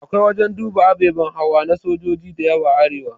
Akwai wajan duba ababe hawa na sojoji diyawa a arewa